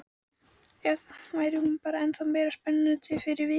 Eða væri hún bara ennþá meira spennandi fyrir vikið?